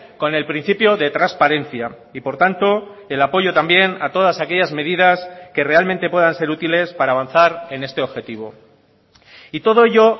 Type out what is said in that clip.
con el principio de transparencia y por tanto el apoyo también a todas aquellas medidas que realmente puedan ser útiles para avanzar en este objetivo y todo ello